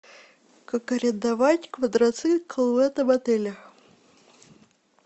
как арендовать квадроцикл в этом отеле